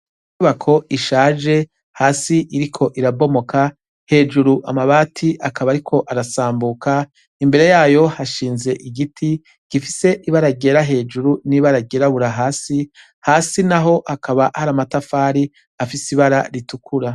Inyubako ishaje, hasi iriko irabomoka, hejuru amabati akaba ariko arasambuka, imbere yayo hashinze igiti gifise ibara ryera hejuru n’ibara ryirabura hasi, hasi naho hakaba har’amatafari afis’ibara ritukura.